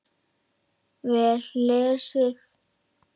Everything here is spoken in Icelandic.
Vel lesið.